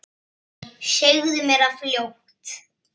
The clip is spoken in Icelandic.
Segðu mér það fljótt.